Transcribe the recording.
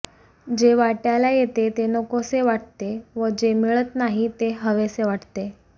जे वाटय़ाला येते ते नकोसे वाटते व जे मिळत नाही ते हवेसे वाटते